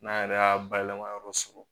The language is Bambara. N'an yɛrɛ y'a bayɛlɛma yɔrɔ sɔrɔ